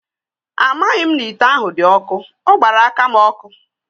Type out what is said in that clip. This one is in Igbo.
Amaghị m na ite ahụ dị ọkụ, ọ gbara aka m ọkụ.